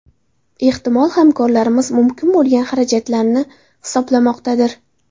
Ehtimol, hamkorlarimiz mumkin bo‘lgan xarajatlarni hisoblamoqdadir.